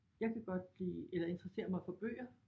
Jeg skal godt lide eller interesserer mig for bøger